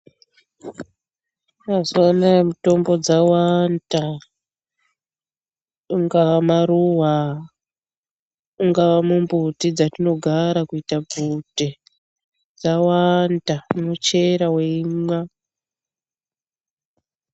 Mazuva anaya mutombo dzawanda, ingaa maruva, ungaa mumbuti dzatinogara kuita bvute, dzawanda. Unochera weimwa.